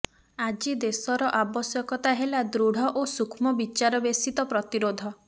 ଆଜି ଦେଶର ଆବଶ୍ୟକତା ହେଲା ଦୃଢ ଓ ସୂକ୍ଷ୍ମ ବିଚାରବେଶିତ ପ୍ରତିରୋଧ